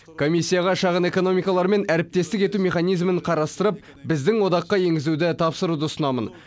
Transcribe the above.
комиссияға шағын экономикалармен әріптестік ету механизмін қарастырып біздің одаққа енгізуді тапсыруды ұсынамын